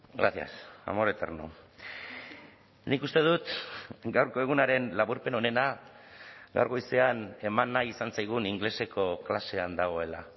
gracias amor eterno nik uste dut gaurko egunaren laburpen onena gaur goizean eman nahi izan zaigun ingeleseko klasean dagoela